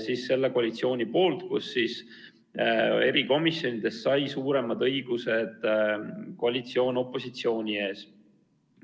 Seda tegi koalitsioon ja erikomisjonides sai suuremad õigused koalitsioon opositsiooni ees.